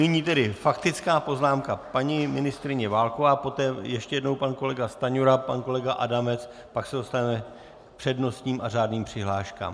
Nyní tedy faktická poznámka: paní ministryně Válková, poté ještě jednou pan kolega Stanjura, pan kolega Adamec, pak se dostaneme k přednostním a řádným přihláškám.